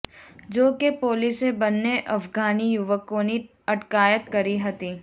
જો કે પોલીસે બંને અફઘાની યુવકોની અટકાયત કરી હતી